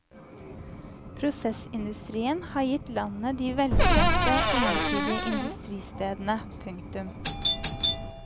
Prosessindustrien har gitt landet de velkjente ensidige industristedene. punktum